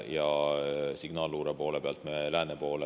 Signaalluure poole pealt me lääne poole …